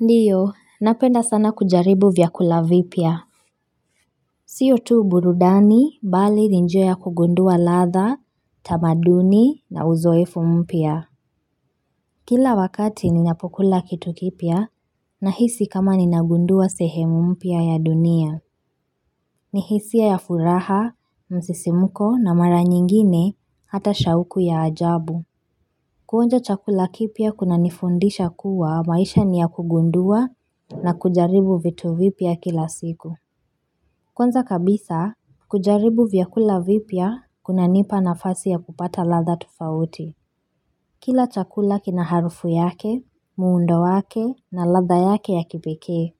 Ndiyo, napenda sana kujaribu vyakula vipya. Sio tu burudani, bali ni njia ya kugundua ladha, tamaduni, na uzoefu mpya. Kila wakati ninapokula kitu kipya, nahisi kama ninagundua sehemu mpya ya dunia. Ni hisia ya furaha, msisimko, na mara nyingine, hata shauku ya ajabu. Kuonja chakula kipya kunanifundisha kuwa maisha ni ya kugundua na kujaribu vitu vipya kila siku. Kwanza kabisa, kujaribu vyakula vipya kunanipa nafasi ya kupata ladha tofauti. Kila chakula kina harufu yake, muundo wake na ladha yake ya kipekee.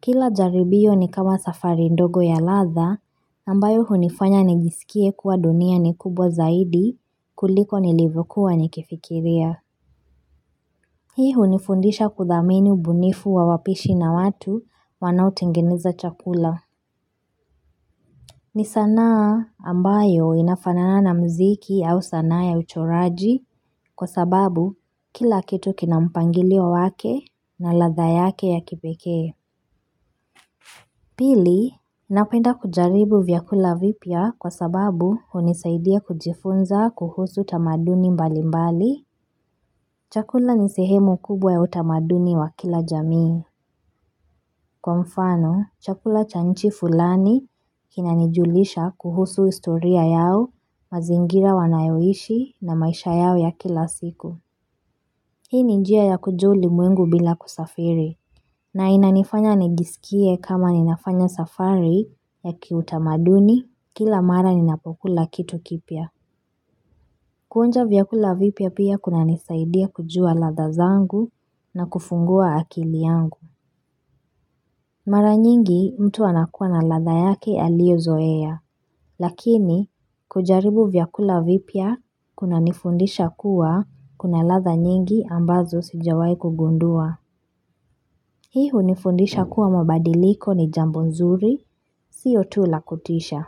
Kila jaribio ni kama safari ndogo ya ladha, ambayo hunifanya nijiskie kuwa dunia ni kubwa zaidi kuliko nilivokuwa nikifikiria. Hii hunifundisha kudhamini ubunifu wa wapishi na watu wanaotengeneza chakula. Ni sanaa ambayo inafanana na mziki au sana ya uchoraji kwa sababu kila kitu kina mpangilio wake na ladha yake ya kipekee. Pili, napenda kujaribu vyakula vipya kwa sababu hunisaidia kujifunza kuhusu tamaduni mbali mbali. Chakula ni sehemu kubwa ya utamaduni wa kila jamii. Kwa mfano, chakula cha nchi fulani kinanijulisha kuhusu historia yao, mazingira wanayoishi na maisha yao ya kila siku. Hii ni njia ya kujua ulimwengu bila kusafiri. Na inanifanya nijisikie kama ninafanya safari ya kiutamaduni kila mara ninapokula kitu kipya. Kuonja vyakula vipya pia kunanisaidia kujua ladha zangu na kufungua akili yangu. Mara nyingi mtu anakuwa na ladha yake aliyozoea, lakini kujaribu vyakula vipya kunanifundisha kuwa kuna ladha nyingi ambazo sijawai kugundua. Hii hunifundisha kuwa mabadiliko ni jambo nzuri, sio tu la kutisha.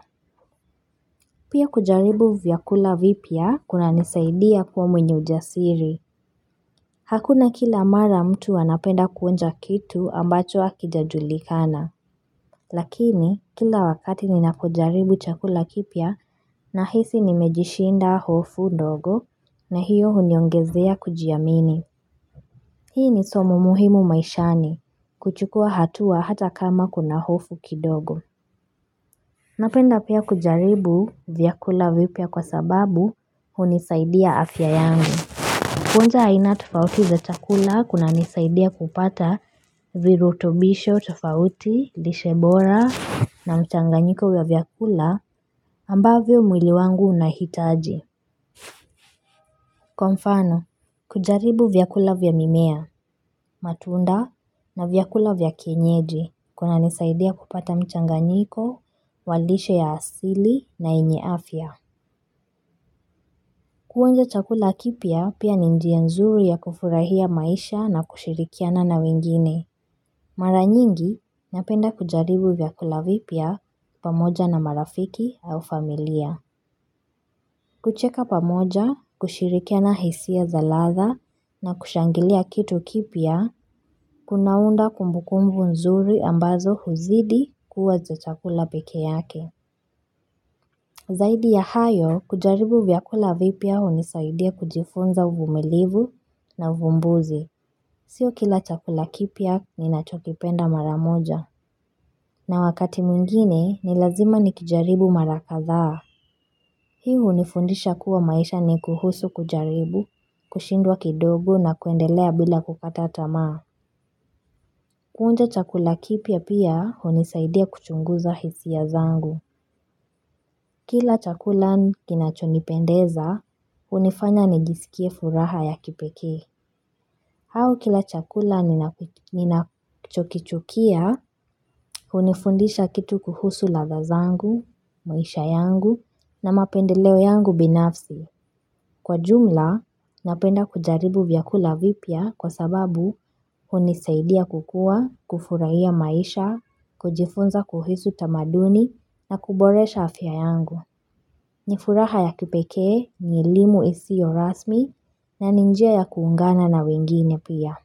Pia kujaribu vyakula vipya kunanisaidia kuwa mwenye ujasiri. Hakuna kila mara mtu anapenda kuonja kitu ambacho hakijajulikana. Lakini kila wakati ninapojaribu chakula kipya nahisi nimejishinda hofu ndogo na hiyo huniongezea kujiamini Hii ni somo muhimu maishani kuchukua hatua hata kama kuna hofu kidogo Napenda pia kujaribu vyakula vipya kwa sababu hunisaidia afya yangu Kuonja aina tofauti za chakula kunanisaidia kupata virutobisho tofauti, lishe bora na mchanganyiko vya vyakula ambavyo mwili wangu unahitaji. Kwa mfano, kujaribu vyakula vya mimea, matunda na vyakula vya kienyeji kunanisaidia kupata mchanganyiko, wa lishe ya asili na yenye afya Kuonja chakula kipya pia ni njia nzuri ya kufurahia maisha na kushirikiana na wengine. Mara nyingi napenda kujaribu vyakula vipya pamoja na marafiki au familia. Kucheka pamoja, kushirikiana hisia za ladha na kushangilia kitu kipya, kunaunda kumbukumbu nzuri ambazo huzidi kuwa za chakula peke yake. Zaidi ya hayo, kujaribu vyakula vipya hunisaidia kujifunza uvumilivu na uvumbuzi. Sio kila chakula kipya ninachokipenda mara moja. Na wakati mwingine, ni lazima nikijaribu mara kadhaa. Hii hunifundisha kuwa maisha ni kuhusu kujaribu, kushindwa kidogo na kuendelea bila kukata tamaa. Kuonja chakula kipya pia hunisaidia kuchunguza hisia zangu. Kila chakula kinachonipendeza, hunifanya nijisikie furaha ya kipekee. Au kila chakula ninachokichukia, hunifundisha kitu kuhusu ladha zangu, maisha yangu, na mapendeleo yangu binafsi. Kwa jumla, napenda kujaribu vyakula vipya kwa sababu hunisaidia kukuwa, kufurahia maisha, kujifunza kuhusu tamaduni, na kuboresha afya yangu. Nifuraha ya kipekee ni elimu isiyo rasmi na ni njia ya kuungana na wengine pia.